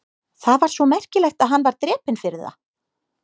Það var svo merkilegt að hann var drepinn fyrir það?